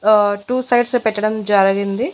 ఆ టూ సైడ్సే పెట్టడం జరిగింది.